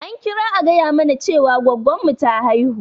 An kira a gaya mana Cewa gwaggon mu ta haihu.